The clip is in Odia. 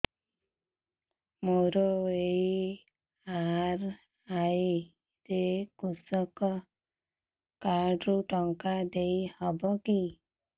ମୋର ଏମ.ଆର.ଆଇ ରେ କୃଷକ କାର୍ଡ ରୁ ଟଙ୍କା ଦେଇ ହବ କି